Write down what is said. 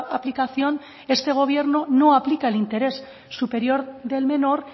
aplicación este gobierno no aplica el interés superior del menor